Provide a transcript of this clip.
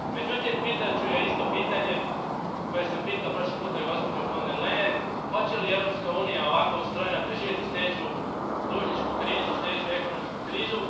Međutim, pitat ću je isto pitanje koje sam pitao prošli put gospođu von der Leyen, hoće li Europska unija, ovako ustrojena, preživjeti sljedeću dužničku krizu, sljedeću ekonomsku krizu.